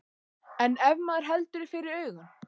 En ef maður heldur fyrir augun.